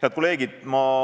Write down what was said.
Head kolleegid!